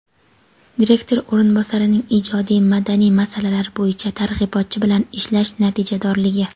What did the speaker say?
Direktor o‘rinbosarining ijodiy-madaniy masalalar bo‘yicha targ‘ibotchi bilan ishlash natijadorligi.